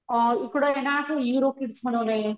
अ इकडे ना असं इरो किड्स म्हणूने,